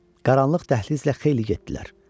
Qaranlıq dəhlizlə xeyli getdilər.